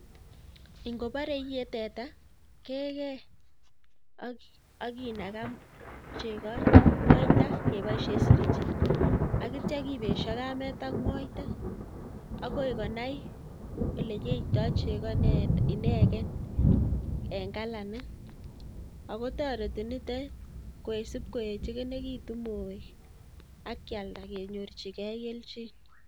Ing'obore iyee tetaa kekee ak kinakaa chekoo moita keboishen sirinjit akityo kibesho kameet ak moita ak koi konai elekiyeito chekoo ineken en kalanit ak ko toreti nitet kosib koechekinekitun moek ak kialda kenyorchike kelchin.